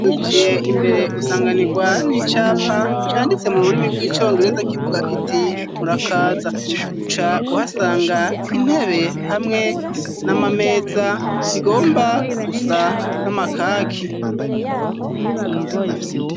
Winjiye imbere usanganirwa n'icapa canditse mururimi bw'icongereza kivuga kiti murakaza, uca uhasanga intebe hamwe n'amameza bigomba gusa n'amakaki.